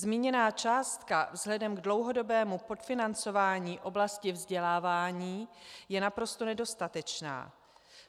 Zmíněná částka vzhledem k dlouhodobému podfinancování oblasti vzdělávání je naprosto nedostatečná.